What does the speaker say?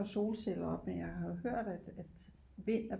Af solceller op men jeg har hørt at vind er